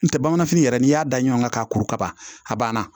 N tɛ bamananfini yɛrɛ n'i y'a da ɲɔgɔn kan ka kuru ka ban a banna